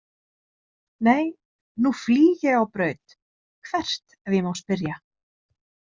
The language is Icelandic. Nei nú flýg ég á braut „“ Hvert ef ég má spyrja? „